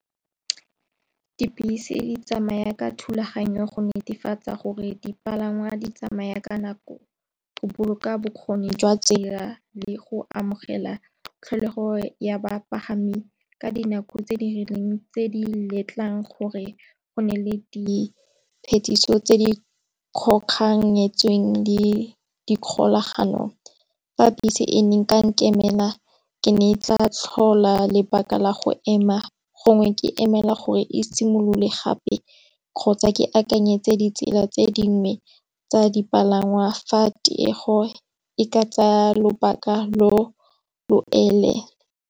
Dibese di tsamaya ka thulaganyo go netefatsa gore dipalangwa di tsamaya ka nako. Go boloka bokgoni jwa tsela le go amogela tlholego ya bapagami ka dinako tse di rileng tse di letlang gore go na le di phetiso tse di kgoganyetsweng le di kgolaganong. Fa bese e ne nka nkemela ke ne ke tla tlhola lebaka la go ema gongwe ke emela gore e simolole gape, kgotsa ke akanyetse ditsela tse dingwe tsa dipalangwa fa tiego e ka tsaya lobaka lo lo .